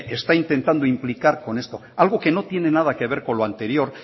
está intentando implicar con esto algo que no tiene nada que ver con lo anterior